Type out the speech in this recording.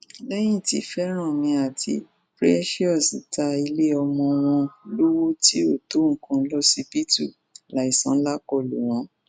lẹyìn tí favani àti precious ta iléọmọ wọn lọwọ tí kò tó nǹkan lọsibítù láìsan ńlá kọ lù wọn